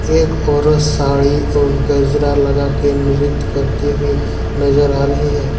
एक औरत साड़ी और गजरा लगा के नृत्य करती हुई नजर आ रही है।